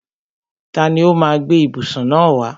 Tani ó má a gbé ìbùsùn náà wá?